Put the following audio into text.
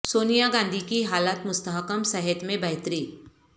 سونیا گاندھی کی حالت مستحکم صحت میں بہتری